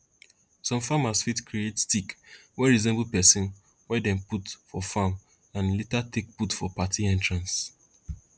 some farmers fit create stick wey resemble person wey dem put for farm and later take put for party entrance